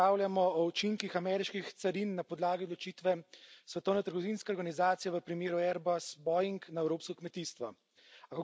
Danes razpravljamo o učinkih ameriških carin na podlagi odločitve Svetovne trgovinske organizacije v primeru Airbus Boeing na evropsko kmetijstvo.